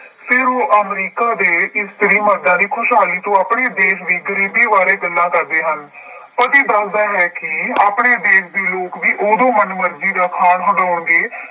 ਫੇਰ ਉਹ ਅਮਰੀਕਾ ਦੇ ਇਸਤਰੀ ਮਰਦਾਂ ਦੀ ਖੁਸ਼ਹਾਲੀ ਤੋਂ ਆਪਣੇ ਦੇਸ਼ ਦੀ ਕੁਰੀਤੀ ਬਾਰੇ ਗੱਲਾਂ ਕਰਦੇ ਹਨ। ਪਤੀ ਦੱਸਦਾ ਹੈ ਕਿ ਆਪਣੇ ਦੇਸ਼ ਦੇ ਲੋਕ ਵੀ ਉਦੋਂ ਮਨਮਰਜ਼ੀ ਦਾ ਖਾਣ ਬਣਾਉਣਗੇ